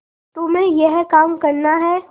तुम्हें यह काम करना है